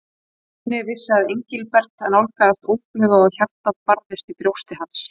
Stjáni vissi að Engilbert nálgaðist óðfluga og hjartað barðist í brjósti hans.